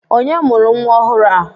Onye mụrụ nwa ọhụrụ a?